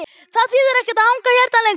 Það þýðir ekkert að hanga hérna lengur.